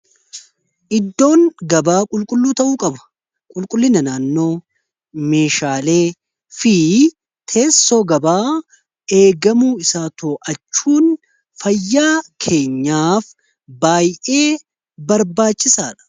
iddoon gabaa qulqulluu ta'uu qaba qulqullinaa naannoo meeshaalee fi teessoo gabaa eegamuu isaa too'achuun fayyaa keenyaaf baay'ee barbaachisaa dha